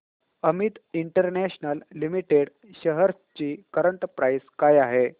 Amit international limited shares ची current price काय आहे